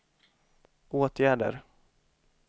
åtgärder